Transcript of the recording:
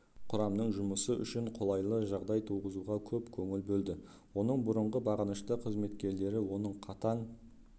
құрамның жұмысы үшін қолайлы жағдай туғызуға көп көңіл бөлді оның бұрынғы бағынышты қызметкерлері оны қатаң